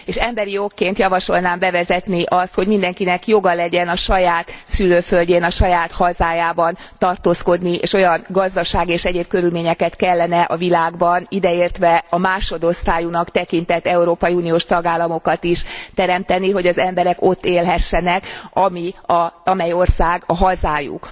Emberi okként javasolnám bevezetni azt, hogy mindenkinek joga legyen a saját szülőföldjén, a saját hazájában tartózkodni és olyan gazdasági és egyéb körülményeket kellene a világban ideértve a másodosztályúnak tekintett európai uniós tagállamokat is teremteni, hogy az emberek ott élhessenek, amely ország a hazájuk.